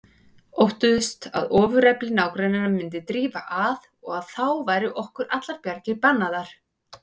Óttuðust að ofurefli nágranna myndi drífa að og að þá væru okkur allar bjargir bannaðar.